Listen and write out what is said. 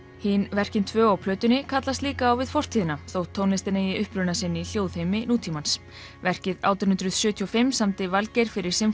Hin verkin tvö á plötunni kallast líka á við fortíðina þótt tónlistin eigi uppruna sinn í nútímans verkið átján hundruð sjötíu og fimm samdi Valgeir fyrir